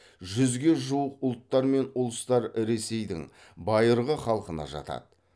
жүзге жуық ұлттар мен ұлыстар ресейдің байырғы халқына жатады